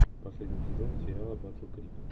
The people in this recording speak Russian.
последний сезон сериала батл крик